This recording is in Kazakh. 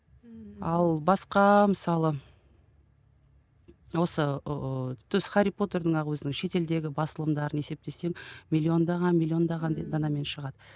ммм ал басқа мысалы осы ыыы хәрри потердің ақ өзінің ғана шетелдегі басылымдарын есептесем миллиондаған миллиондаған данамен шығады